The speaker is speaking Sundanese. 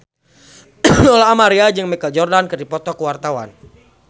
Lola Amaria jeung Michael Jordan keur dipoto ku wartawan